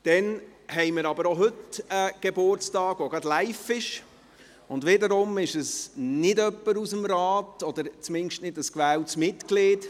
Dann haben wir auch heute einen Geburtstag, der gerade live ist, und wiederum ist es nicht jemand aus dem Rat oder zumindest kein gewähltes Mitglied.